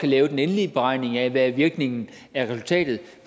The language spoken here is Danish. lave den endelige beregning af hvad virkningen er af resultatet det